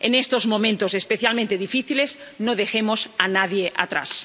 En estos momentos, especialmente difíciles, no dejemos a nadie atrás.